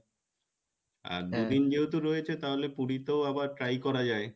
আর দুদিন যেহেতু রয়েছে তাহলে পুরিতেও আবার try করা যাই,